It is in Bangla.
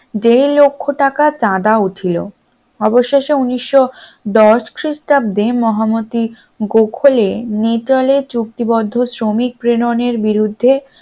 দেড় লক্ষ টাকা চাঁদা উঠিল, অবশেষে উনিশশ দশ খ্রিস্টাব্দে মহামতি গোখলে নিলে চুক্তিবদ্ধ শ্রমিক প্রেরণের বিরুদ্ধে